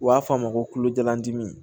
U b'a fɔ a ma kolojalan dimi